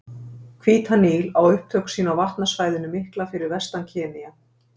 Hvíta Níl á upptök sín á vatnasvæðinu mikla fyrir vestan Kenía.